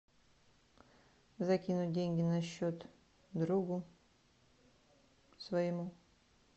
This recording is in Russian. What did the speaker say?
закинуть деньги на счет другу своему